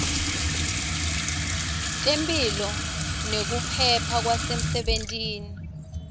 temphilo nekuphepha kwasemsebentini